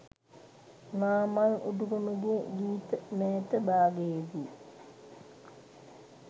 නාමල් උඩුගමගේ ගීත මෑත භාගයේ දී